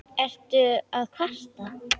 Ertu að kvarta?